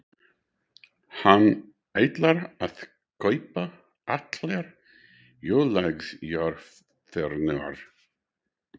Hann ætlar að kaupa allar jólagjafirnar.